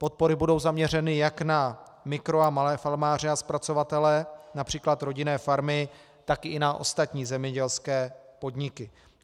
Podpory budou zaměřeny jak na mikro- a malé farmáře a zpracovatele, například rodinné farmy, tak i na ostatní zemědělské podniky.